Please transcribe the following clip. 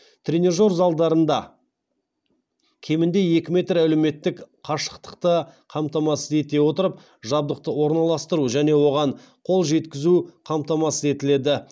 тренажер залдарында кемінде екі метр әлеуметтік қашықтықты қамтамасыз ете отырып жабдықты орналастыру және оған қол жеткізу қамтамасыз етіледі